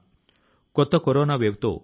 కొత్త లక్ష్యాల ను సాధించాలి